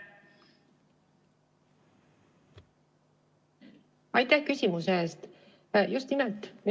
Aitäh küsimuse eest!